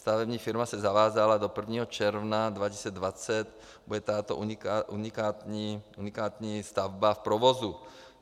Stavební firma se zavázala - do 1. června 2020 bude tato unikátní stavba v provozu.